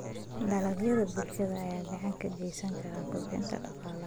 Dalagyada bulshada ayaa gacan ka geysan kara kobcinta dhaqaalaha.